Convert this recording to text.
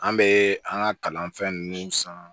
An bɛ an ka kalanfɛn ninnu san